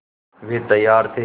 वे तैयार थे